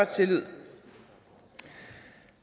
tillid